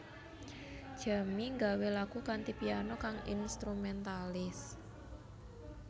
Jamie gawé lagu kanthi piano kang instrumentalis